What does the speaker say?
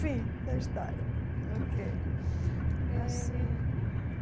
Fim da história ok.